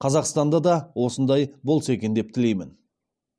қазақстанда да осындай болса екен деп тілеймін